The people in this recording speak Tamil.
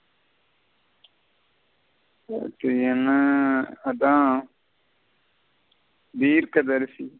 நேத்து என்ன அத தீர்க்கதரிசி.